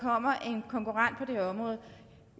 kommer en konkurrent på det område